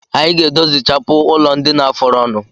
Anyi ga-edozichapụ ụlọndina fọrọnụ